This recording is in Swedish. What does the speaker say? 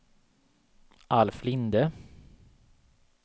Alf Linde